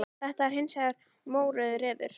Þetta er hins vegar mórauður refur.